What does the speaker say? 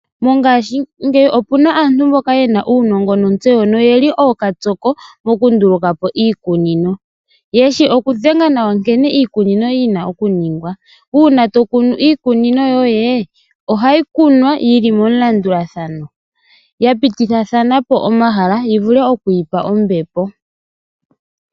Mongashingeyi opuna aantu mboka yena uunogo notseyo noyeli okatsoko moku ndulukapo iikunino. Yeshi oku dhenga nawa nkene iikunino yina oku ningwa. Una to kunu iikunino yoye ohayi kunwa yili momu landulathano yapititathanapo omahala yivule okwiipa ombepo.